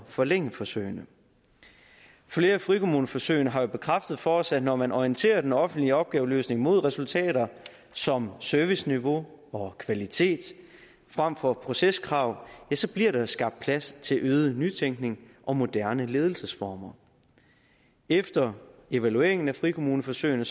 forlænge forsøgene flere af frikommuneforsøgene har jo bekræftet for os at når man orienterer den offentlige opgaveløsning mod resultater som serviceniveau og kvalitet frem for proceskrav ja så bliver der skabt plads til øget nytænkning og moderne ledelsesformer efter evalueringen af frikommuneforsøgene